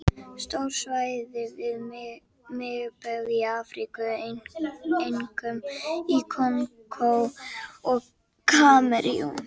Stór svæði við miðbaug í Afríku, einkum í Kongó og Kamerún.